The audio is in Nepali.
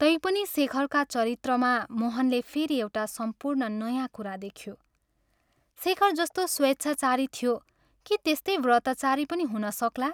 तैपनि शेखरका चरित्रमा मोहनले फेरि एउटा सम्पूर्ण नयाँ कुरा देख्यो शेखर जस्तो स्वेच्छाचारी थियो के त्यस्तै व्रतचारी पनि हुन सक्ला?